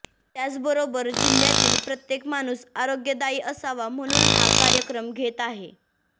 त्याचबरोबर जिल्ह्यातील प्रत्येक माणूस आरोग्यदायी असावा म्हणून हा कार्यक्रम घेत आहे